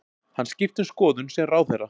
Hann skipti um skoðun sem ráðherra